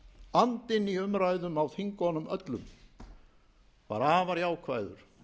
andinn í umræðum á þingunum öllum var afar jákvæður